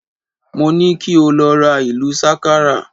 Mo ni ki o lọ ra ìlù sákárà